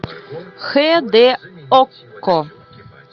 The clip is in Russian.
хэ дэ окко